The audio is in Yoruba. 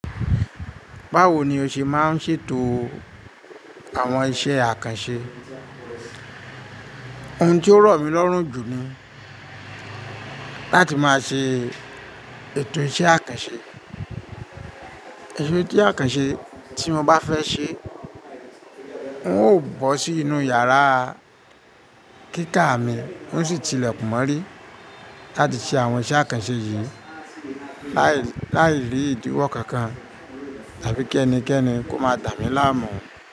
Bawo ni o ṣe máa ń ṣètò àwọn iṣẹ́ àkànṣe? Ohun tí ó rọ̀ mí lọ́rùn jù ni láti máa ṣe ètò iṣẹ́ àkànṣe. Ẹ̀tọ́ isé àkànṣe, tí mo bá fẹ́ ṣe, ń ó bọ́ sí inú yàrá kíkà mi, nó sì tilẹ̀ kún mọ́rí láti ṣe àwọn iṣẹ́ àkànṣe yìí láìrí ìdíwọ́ kankan tàbí kí ẹnikẹ́ni kó máa dàmí láàmú.